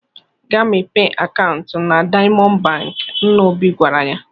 "Gaa mepee akaụntụ na Daịamọndụ Bankị," nna Obi gwara ya.